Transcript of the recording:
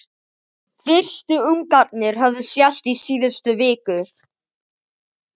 Fyrstu ungarnir höfðu sést í síðustu viku.